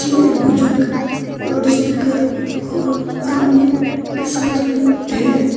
एक बुजुर्ग लाउडस्पीकर और हरमुनियम के साथ में है।